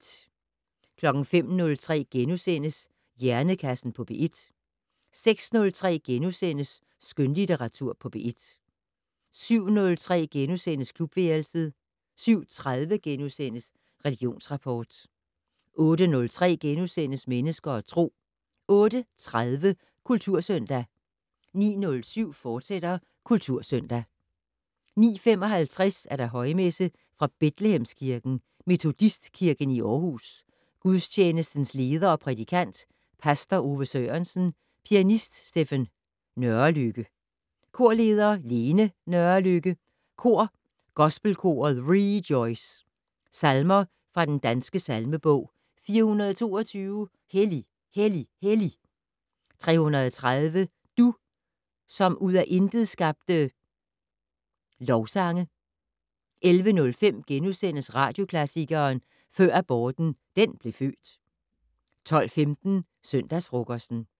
05:03: Hjernekassen på P1 * 06:03: Skønlitteratur på P1 * 07:03: Klubværelset * 07:30: Religionsrapport * 08:03: Mennesker og Tro * 08:30: Kultursøndag 09:07: Kultursøndag, fortsat 09:55: Højmesse - Fra Betlehemskirken, Metodistkirken i Aarhus. Gudstjenestens leder og prædikant: Pastor Ove Sørensen. Pianist: Stephen Nørrelykke. Korleder: Lene Nørrelykke. Kor: Gospelkoret REJOICE. Salmer fra den Danske salmebog: 422: "Hellig, hellig, hellig" 330: "Du, som ud af intet skabte". Lovsange. 11:05: Radioklassikeren: Før aborten den blev født * 12:15: Søndagsfrokosten